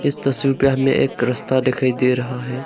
तस्वीर पे हमें एक रास्ता दिखाई दे रहा है।